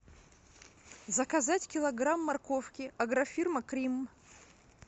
заказать килограмм морковки агрофирма крим